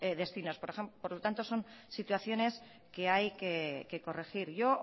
destinos por lo tanto son situaciones que hay que corregir yo